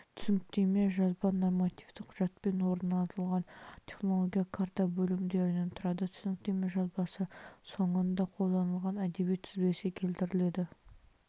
түсініктеме жазба нормативтік құжатпен орнатылған технологиялық карта бөлімдерінен тұрады түсініктеме жазбасы соңында қолданылған әдебиет тізбесі келтіріледі